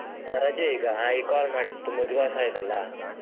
ಹಾ ರಜೆ ಈಗ ಈಗ್ call ಮಾಡಿದ್ದು ತುಂಬಾ ದಿವಸ ಆಯ್ತಾಲ್ವ?